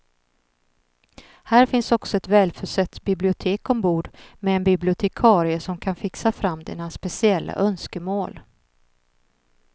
Här finns också ett välförsett bibliotek ombord med en bibliotekarie som kan fixa fram dina speciella önskemål.